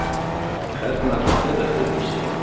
Hvernig ætli þeirra heimur sé?